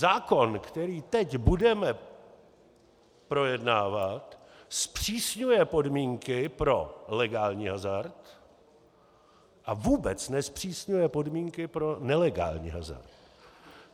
Zákon, který teď budeme projednávat, zpřísňuje podmínky pro legální hazard a vůbec nezpřísňuje podmínky pro nelegální hazard.